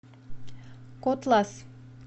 котлас